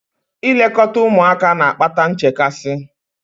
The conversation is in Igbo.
Ilekọta ụmụaka na-akpata nchekasị